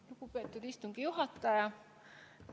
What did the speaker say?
Lugupeetud istungi juhataja!